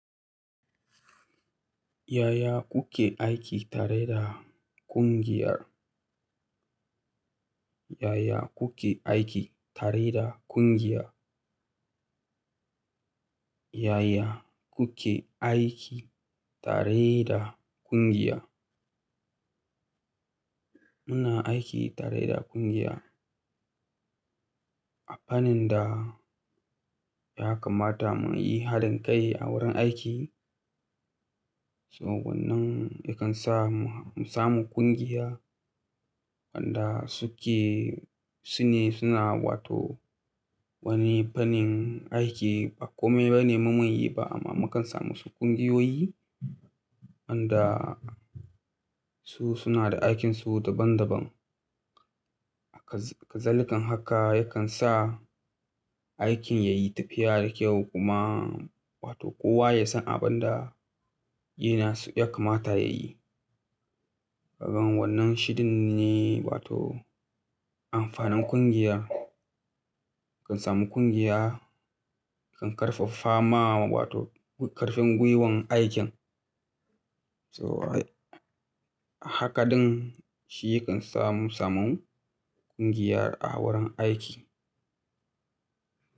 Yaya kuke aiki tare da ƙungiyar? Yaya kuke aiki tare da ƙungiya? Yaya kuke aiki tare da ƙungiya? Muna aiki tare da ƙungiya a fannin da ya kamata mu yi hadin kai a wurin aiki. So wannan yakan sa mu samu ƙungiya wanda suke, sune suna wato wani fannin aiki ba komai bane mu mun yi ba amma mu kan samu wasu ƙungiyoyi wanda su suna da aikinsu daban daban. Hakazalikan haka yakan sa aikin ya yi tafiya da kyau kuma wato kowa ya san abin da yana ya kamata ya yi. Kagan wannan shidin ne wato amfanin ƙungiya. Kan samu ƙungiya, kan ƙarfaffama wato ƙarfin gwiwan aikin. So hakaɗin shi yakan sa mu samu ƙungiya a wurin aiki.